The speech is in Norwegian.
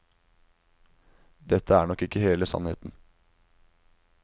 Dette er nok ikke hele sannheten.